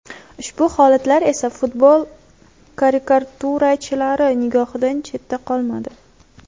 Ushbu holatlar esa futbol karikaturachilari nigohidan chetda qolmadi.